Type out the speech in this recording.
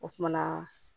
O kumana